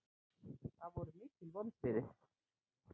Það voru mikil vonbrigði